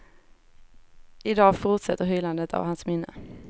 I dag fortsätter hyllandet av hans minne.